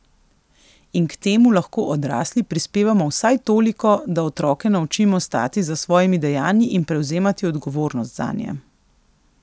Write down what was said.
In k temu lahko odrasli prispevamo vsaj toliko, da otroke naučimo stati za svojimi dejanji in prevzemati odgovornost zanje.